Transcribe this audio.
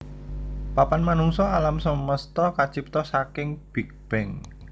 Papan manungsa alam semesta kacipta saking Big Bang